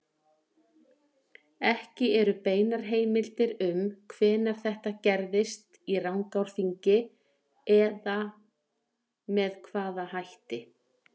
Ekki eru beinar heimildir um hvenær þetta gerðist í Rangárþingi eða með hvaða hætti.